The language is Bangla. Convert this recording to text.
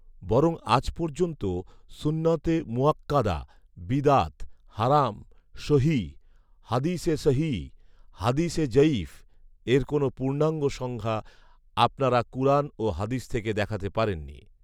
বরং আজ পর্যন্ত ‘সুন্নতে মুআক্কাদা’, ‘বিদআত’, ‘হারাম’, ‘সহীহ’, ‘হাদীসে সহীহ’, ‘হাদীসে জঈফ’ এর কোন পূর্ণাঙ্গ সংজ্ঞা আপনারা কুরআন ও হাদীস থেকে দেখাতে পারেননি